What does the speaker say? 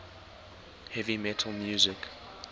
heavy metal music